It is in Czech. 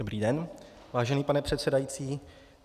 Dobrý den, vážený pane předsedající.